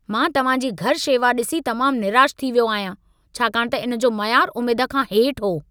मां तव्हां जी घरू शेवा ॾिसी तमाम निराश थी वियो आहियां छाकाणि त इन जो मयारु उमेद खां हेठि हो।